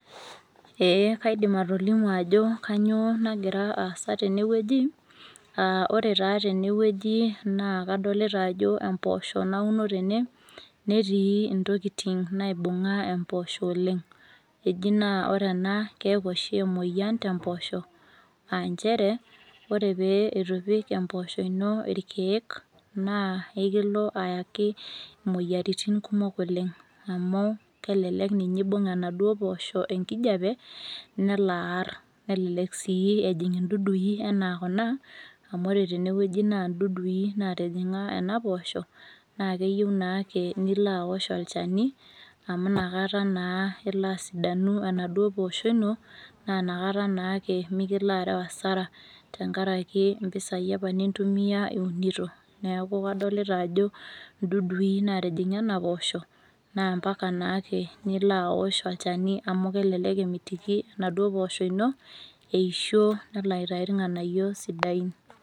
ee kaidim atolimu ajo kainyioo nagira aasa tene weuji.aa oe taa tene wueji, naa kadolita ajo empoosho nauno tene, netii ntokitin ,naibunga enpoosho oleng. eji naa ore ena naa keeku oshi emoyian tempoosho, nchere ore pee eitu ipik empooosho, ino irkeek naa ekilo aayaki imoyiaritin kumok oleng. amu kelelek ninye eibung enauo poosho enkijiape nelo aar, nelelek sii ejing idudui ana kuna, amu ore tene wueji naa dudui natijinga kuna posho, naa keyieu nake nilo aosh olchani amu inakata naa, elo asidanu enaduoo poosho ino. naa inakata naake miikilo areu asara. tenkaraki mpisai apa nintumia iunito, neeku kadolita ajo idudui naatijing'a ena poosho naa mpaka nake nilo aosh olchani, amu kelelek emitiki enaduoo poosho ino eisho elo aitayu irnganyio sidain.